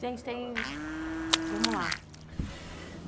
Gente, tem... Vamos lá.